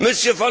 Monsieur